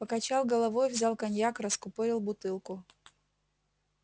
покачал головой взял коньяк раскупорил бутылку